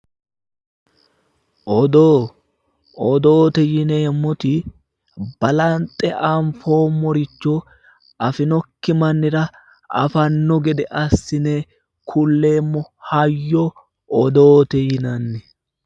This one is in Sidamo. Odoo odoote yineemmoti balanxe anfoommoricho afinoki mannira afanno gede assine kulleemmo hayyo odoote yinanni